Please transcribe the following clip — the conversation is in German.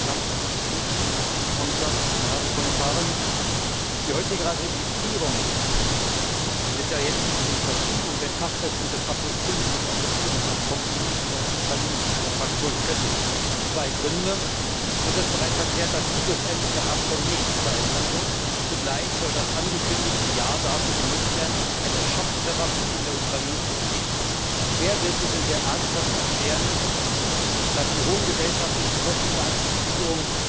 Herr Präsident, sehr geehrte Herren Kommissare! Die heutige Ratifizierung mit der jetzigen Verschiebung der Inkraftsetzung des Kapitels V des Assoziierungsabkommens EU Ukraine sieht meine Fraktion kritisch. Zwei Gründe Es ist bereits erklärt, dass sich schlussendlich am Abkommen nichts verändern wird, und zugleich soll das angekündigte Jahr dafür genutzt werden, eine Schocktherapie in der Ukraine zu umgehen. Wer bitte will hier ernsthaft erklären, dass die hohen gesellschaftlichen Kosten der Assoziierung